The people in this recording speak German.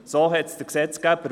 So wollte es der Gesetzgeber.